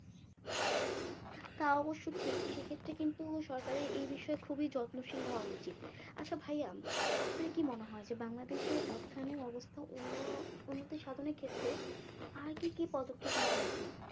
তা অবশ্য ঠিক সেক্ষেত্রে কিন্তু সরকারের এই বিষয়ে খুবই যত্নশীল হওয়া উচিত আচ্ছা ভাইয়া আপনার কি মনে হয় যে বাংলাদেশের অর্থায়নের অবস্থা অন্য উন্নতি সাধনের ক্ষেত্রে আর কি কি পদক্ষেপ নেওয়া উচিত